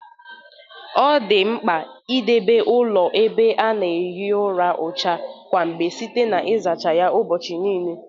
O dị nkpa idebe ụlọ ebe a na-ehi ụra ọcha kwa mgbe site na izachasị ya ụbọchị niile